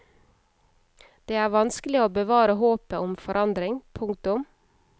Det er vanskelig å bevare håpet om forandring. punktum